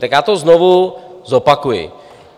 Tak já to znovu zopakuji.